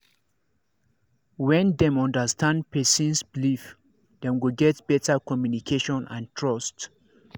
when dem understand person's believe dem go get better communication and and trust